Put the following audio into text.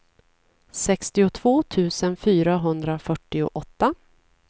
sextiotvå tusen fyrahundrafyrtioåtta